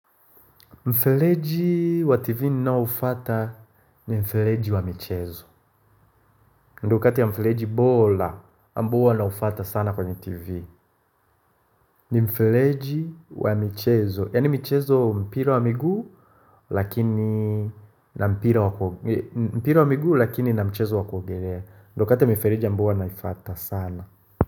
Mfeleji wa TV ninaoufuata ni mfeleji wa michezo ndo kati ya mfeleji bora ambao naufuata sana kwenye TV ni mfeleji wa michezo Yaani michezo mpira wa miguu lakini na mpira wa miguu lakini na mchezo wakuogolea ndo kati ya mfeleji ambao naifuata sana.